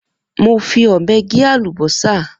Mo fí ọbẹ gẹ àlúbọsà.